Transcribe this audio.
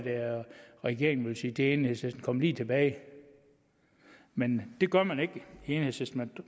regeringen ville sige til enhedslisten kom lige tilbage men det gør man ikke i enhedslisten